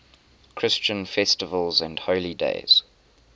christian festivals and holy days